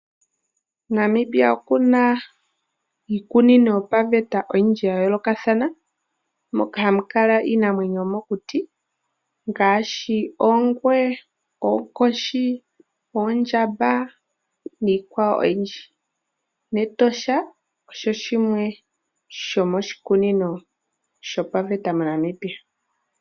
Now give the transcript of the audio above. Namibia okuna iikunino oyindji yopaveta ya yoolokathana moka hamu kala iinamwenyo yomokuti ngaashi oongwe, oonkoshi, oondjamba niikwawo oyindji. Etosha shimwe shomiiikunino yopaveta mo Namibia